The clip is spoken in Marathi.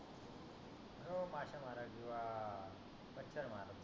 माशया मारत किवा मच्छर मारत